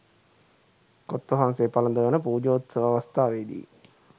කොත් වහන්සේ පලඳවන පූජෝත්සව අවස්ථාවේදී